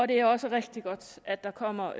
det er også rigtig godt at der kommer